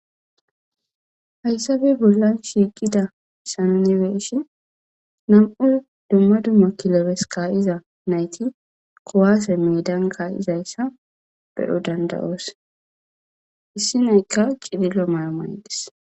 Hayssape bollan shiiqidayssa nu be'ishin nam'u dumma dumma kilebes ka'iza meedan ka'izayssa be'o dandda'oos issi na'aykka cililo mayo mayides.